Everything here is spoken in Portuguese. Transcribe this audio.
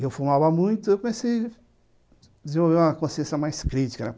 E eu fumava muito e comecei a desenvolver uma consciência mais crítica, né?